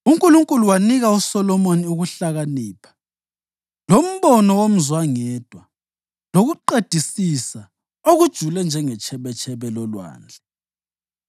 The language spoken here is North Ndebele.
UNkulunkulu wanika uSolomoni ukuhlakanipha lombono womzwangedwa, lokuqedisisa okujule njengetshebetshebe lolwandle.